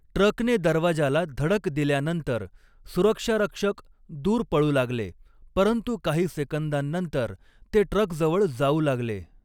ट्रकने दरवाजाला धडक दिल्यानंतर सुरक्षारक्षक दूर पळू लागले, परंतु काही सेकंदांनंतर ते ट्रकजवळ जाऊ लागले.